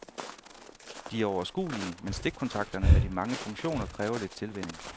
De er overskuelige, men stikkontakterne med de mange funktioner kræver lidt tilvænning.